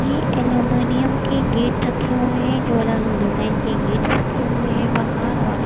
ये एल्यूमिनियम के गेट रखे हुएं हैं जो अलग अलग डिजाइन के गेट्स रखे हुएं हैं बाहर और एक--